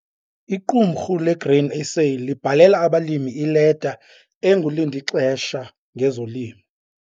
Iqumrhu leGrain SA libhalela abalimi ileta engulindixesha ngezolimo.